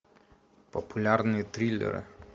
популярные триллеры